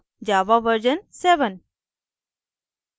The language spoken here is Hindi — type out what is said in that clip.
java version 7